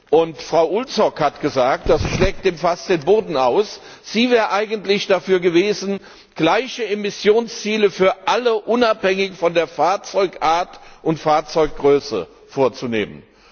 Und Frau Ulvskog hat gesagt das schlägt dem Fass den Boden aus sie wäre eigentlich dafür gewesen, gleiche Emissionsziele für alle, unabhängig von der Fahrzeugart und Fahrzeuggröße vorzugeben.